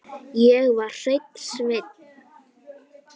Ég var hreinn sveinn.